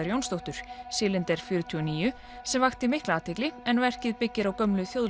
Jónsdóttur Cylender fjörutíu og níu sem vakti mikla athygli en verkið byggir á gömlu